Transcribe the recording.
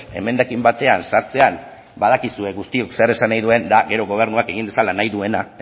emendakin batean sartzean badakizue guztiok zer esan nahi duen gero gobernuak egin dezala nahi duena